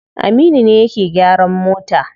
Aminu ne yake gyaran mota.